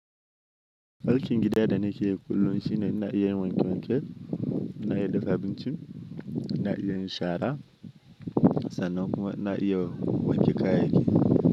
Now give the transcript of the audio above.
Aikin gida da na ke yi kullum shine na iya wanke wankel, na iya dafa abinci, na iya yin shara sannan kuma ina iya wanke kayayyaki.